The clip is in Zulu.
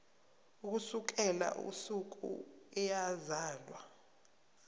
ukusukela usuku eyazalwa